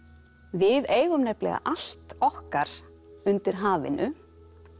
við eigum nefnilega allt okkar undir hafinu